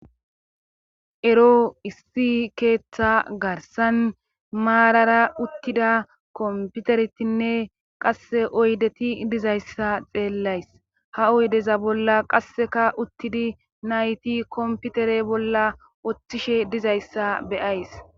Ero issi keeththa garsan maarara uttida komputeretinne qasse oydeti dizayssa xeellays ha oydeza bolla qasseka uttidi nayti komputere bolla oththishe dizayssa beyays.